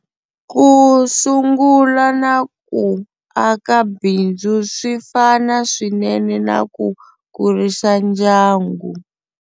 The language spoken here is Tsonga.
Ku sungula na ku aka bindzu swi fana swinene na ku kurisa ndyangu.